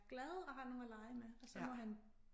Glad og har nogen at lege med og så må han